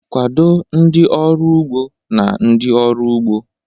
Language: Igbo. Kwado ndị ọrụ ugbo na ndị ọrụ ugbo..